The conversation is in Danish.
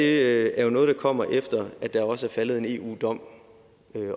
er jo noget der kommer efter at der også er faldet en eu dom